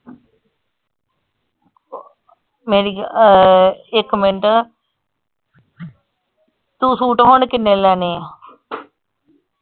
ਮੇਰੀ ਅਹ ਇੱਕ minute ਤੂੰ ਸੂਟ ਹੁਣ ਕਿੰਨੇ ਲੈਣੇ ਆ?